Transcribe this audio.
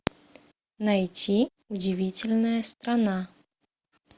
найти удивительная страна